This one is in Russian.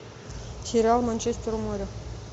сериал манчестер у моря